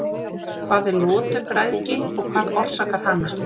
hvað er lotugræðgi og hvað orsakar hana